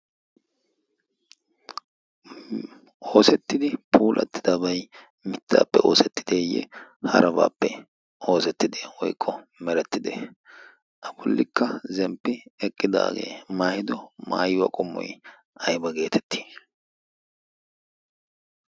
oosettidi puulattidabay mittaappe oosettideeyye harabaappe oosettidi oyqqo merettide afulikka zemppi eqqidaagee maahido maayiwaa qommoi ayba geetetti?